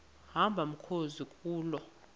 hamba mkhozi kuloo